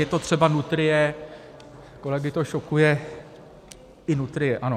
Je to třeba nutrie, kolegy to šokuje, i nutrie, ano.